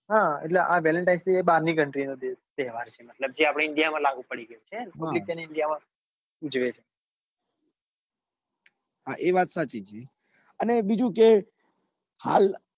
હા એટલે velentinesday બાર ની country નો તહેવાર છે મતલબ જે આપડા india લાગુ પડી ગયો છે ને missionindia માં હા એ વાત સાચી અને બીજું કે